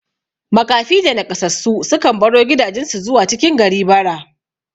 Maƙafi da Naƙasassu sukan baro gidajan su zuwa cikin gari bara